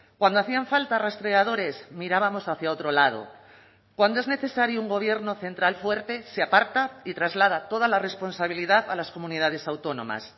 cuando hacían falta rastreadores mirábamos hacia otro lado cuando es necesario un gobierno central fuerte se aparta y traslada toda la responsabilidad a las comunidades autónomas